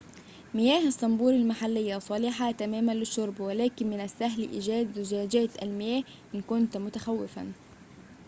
مياه الصنبور المحلّيّة صالحة تماماً للشرب ولكن من السهل إيجاد زجاجات المياه إن كنت متخوّفاً